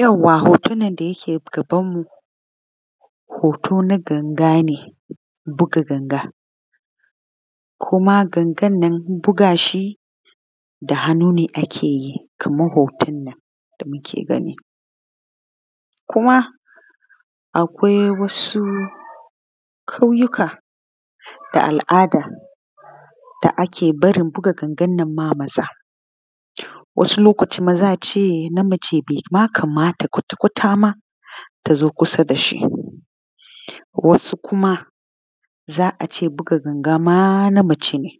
Yauwa hoton nan da yake gabanmu hoto na ganaga ne buga ganga kuma gangan nan buga shi da hannu ne ake yi kaman hoton nan da muke gani kuma akwai wasu ƙauyuka da al’ada da ake barin buga gangannan ma maza wani lokaci be ma kamata kwatakwata mata ta zo kusa da shi ba. Wasu kuma za a ce buga ganga ma na mace ne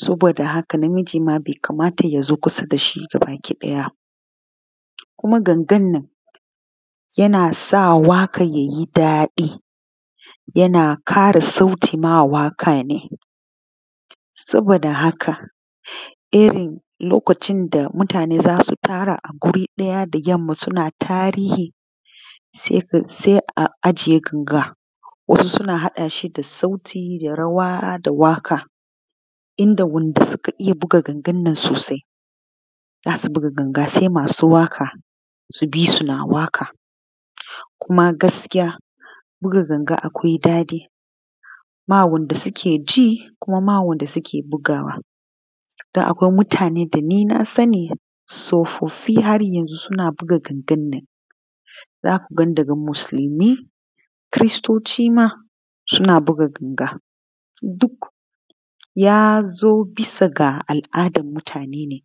saboda haka na miji be kamata ya zo kusa da shi ba gabakiɗaya kuma gangan nan yana sa waƙa ya yi daɗi yana ƙara sauti mawaƙa ne saboda haka irin lokacin da mutane za su tara ma gabakiɗaya ma da yanma suna tarihi se a ajiye ganga wasu suna haɗashi da sauti rawa da waƙa inda wanda suka iya buga gangannan sosai za su buga ganga sai masu waƙa subisu na waka kuma gaskiya buga ganga akwai daɗi ba wanda sukeji kuma ba wanda suke bugawa da akwai mutane dani nasani tsofaffi haryanzo suna buga gangannan zakuga da musulmi kristotcima suna buga ganga duk yazo bisa ga al’adan mutane ne.